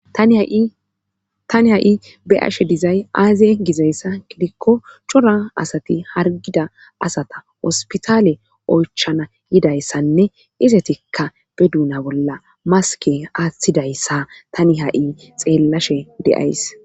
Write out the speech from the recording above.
Tani ha7i beyashe dizay aaze gizayssa gidikko cora asati hargida asata ospitaale oychana yidayssanne izetikka be duuna bolla maske aaththidayssa tani ha7i xeellashe de7ays.